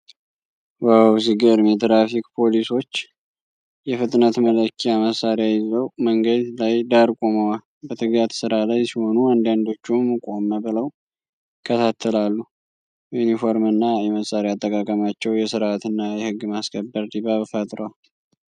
ዋው፣ ሲገርም! የትራፊክ ፖሊሶች የፍጥነት መለኪያ መሣሪያ ይዘው መንገድ ዳር ቆመዋል። በትጋት ስራ ላይ ሲሆኑ፣ አንዳንዶቹም ቆም ብለው ይከታተላሉ። የዩኒፎርምና የመሳሪያ አጠቃቀማቸው የሥርዓትና የሕግ ማስከበር ድባብ ፈጥሯል።